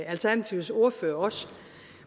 alternativets ordfører også